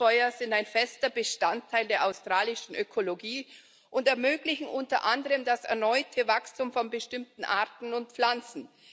Buschfeuer sind ein fester Bestandteil der australischen Ökologie und ermöglichen unter anderem das erneute Wachstum von bestimmten Arten und Pflanzen.